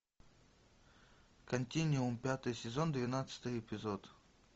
континуум пятый сезон двенадцатый эпизод